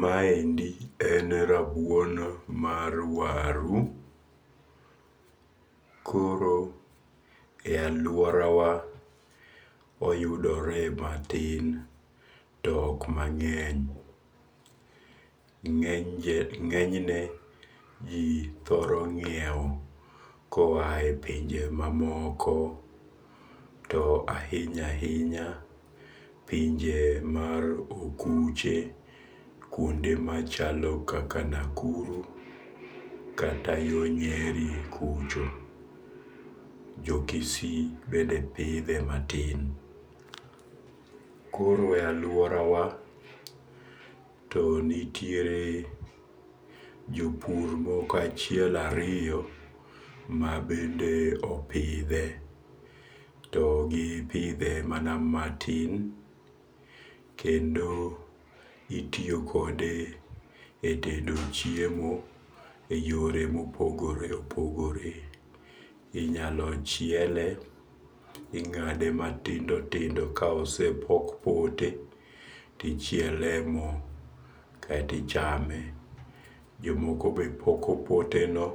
Maendi en rabuon mar waru, koro e aluorawa oyudore matin to ok mange'ny, ngenyne ji thoro nyiewo koyae punje mamoko to ahinya hinya pinje mar okuche kuonde machalo kaka Nakuru kata yo nyeri kucho, jokisii bende pithe matin, koro e aluorawa to nitiere jo pur moko achiel ariyo moko ma bende opithe, gipithe mana matin to kendo itiyo kode e tedo chiemo e yore ma opogore opogore, inyalo chiele, ingade matindo tindo ka osepok toke tichiele mo kaeto ichame, jomoko be poko tokeno